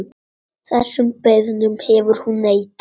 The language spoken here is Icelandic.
Þessum beiðnum hefur hún neitað.